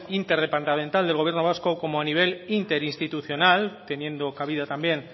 interdepartamental del gobierno vasco como a nivel interinstitucional teniendo cabida también